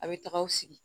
A bɛ taga aw sigi